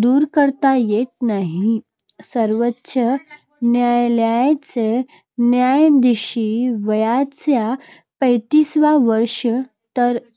दूर करता येत नाही. सर्वोच्च न्यायालयाचे न्यायाधीश वयाच्या पेतिस्वा वर्षी, तर